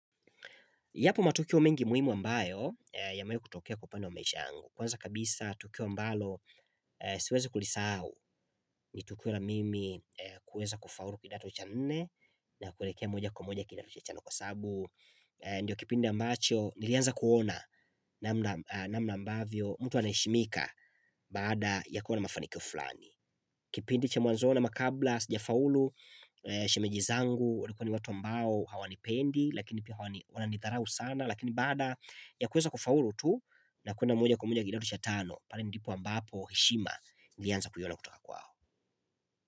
Yapo matukio mengi muhimu ambayo yamewahi kutokea kwa upande wa maisha yangu. Kwanza kabisa tukio ambalo siwezi kulisahau ni tukio la mimi kuweza kufaulu kidato cha nne na kuelekea moja kwa moja kidato cha tano kwa sababu. Ndiyo kipindi ambacho nilianza kuona namna ambavyo mtu anaheshimika baada ya kuwa na mafanikio fulani. Kipindi cha mwanzoni ama kabla Sijafaulu Shemeji zangu walikuwa ni watu ambao hawanipendi Lakini pia wananidharau sana Lakini baada ya kuweza kufaulu tu na kwenda moja kwa moja hadi kidato cha tano pale ndipo ambapo heshima nilianza kuiona kutoka kwao.